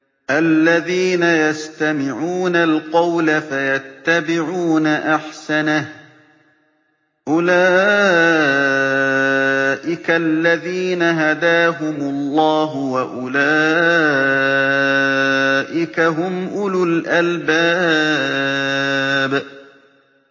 الَّذِينَ يَسْتَمِعُونَ الْقَوْلَ فَيَتَّبِعُونَ أَحْسَنَهُ ۚ أُولَٰئِكَ الَّذِينَ هَدَاهُمُ اللَّهُ ۖ وَأُولَٰئِكَ هُمْ أُولُو الْأَلْبَابِ